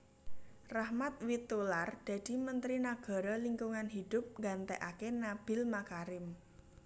Rachmat Witoelar dadi mentri Nagara Lingkungan Hidup nggantekaké Nabiel Makarim